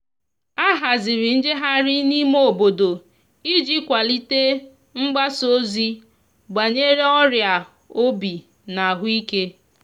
a haziri njeghari n'ime obodo iji kwalite mgbasa ozi banyere ọria obi na ahuike